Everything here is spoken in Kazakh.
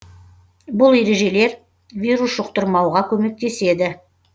бұл ережелер вирус жұқтырмауға көмектеседі